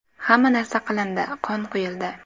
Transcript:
Hamma narsa qilindi, qon quyildi.